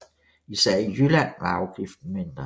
Især i Jylland var afgiften mindre